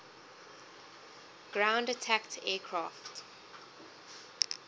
ground attack aircraft